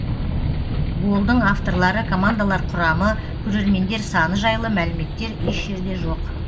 голдың авторлары командалар құрамы көрермендер саны жайлы мәліметтер еш жерде жоқ